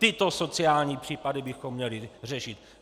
Tyto sociální případy bychom měli řešit.